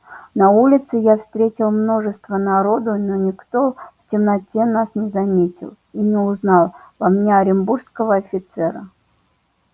на улице я встретил множество народу но никто в темноте нас не заметил и не узнал во мне оренбургского офицера